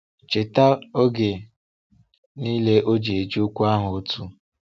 “Cheta oge niile ọ ji eji okwu ahụ otu.”